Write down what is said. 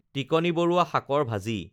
টিকনি বৰুৱা শাকৰ ভাজি